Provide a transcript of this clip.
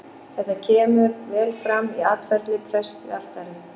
Þetta kemur vel fram í atferli prests við altari.